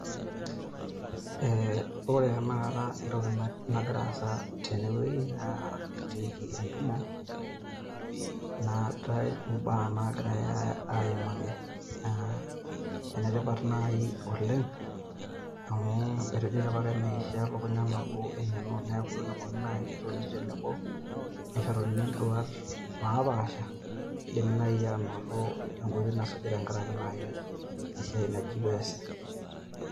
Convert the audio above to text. Eeeh ore tenakata entoki nagira aasa tene wueji naa etiiki entumo naatae im`baa naagirai aimaki. Naa ene tipat naaji oleng amu etejoki apake mme ishaa elukunya nabo eng`eno, niaku ore enikununo naaji tenetoni tenebo nishoruni in`duat napaasha nidimi naaji aanoto enkoitoi nasuji tenkaraki naaji esiai naji pee easi.